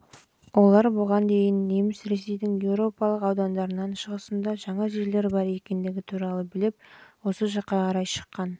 олар бұған дейін неміс ресейдің еуропалық аудандарынан шығысында жаңа жерлер бар екендігі туралы біліп осы жаққа қарай шыққан